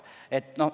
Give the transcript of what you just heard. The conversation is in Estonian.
Alati saab.